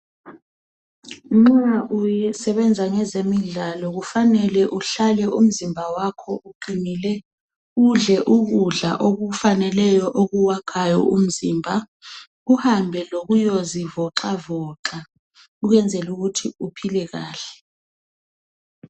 Nxa uye usebenza ngezemidlalo kufanele uhlale umzimba wakho uqinile udle ukudla okufaneleyo okuwakhayo umzimba uhambe lokuyozivoxavoxa ukwenzela ukuthi uphile kahle.